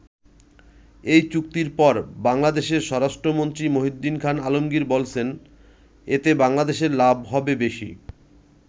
এই চুক্তির পর বাংলাদেশের স্বরাষ্ট্রমন্ত্রী মহীউদ্দীন খান আলমগীর বলছেন এতে বাংলাদেশের লাভ হবে বেশি।